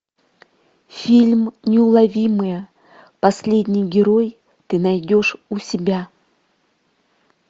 фильм неуловимые последний герой ты найдешь у себя